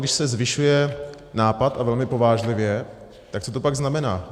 Když se zvyšuje nápad, a velmi povážlivě, tak co to pak znamená?